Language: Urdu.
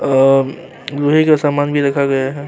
لوہے کا سامان بھی رکھا گیا ہے-